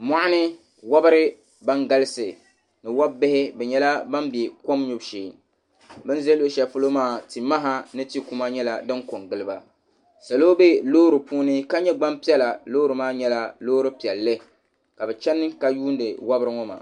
Mɔɣuni wɔbiri ban galisi ni wɔb'bihi bɛ nyɛla ban be kom nyubu shee bɛ ni ʒe luɣishɛli polo maa timaha ni tikuma nyɛla din pe n-gili ba salo be loori puuni ka nyɛ gbampiɛla loori maa nyɛla loori piɛlli ka bɛ chani ka yuuni wabiri ŋɔ maa.